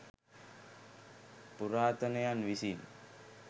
පුරාතනයන් විසින්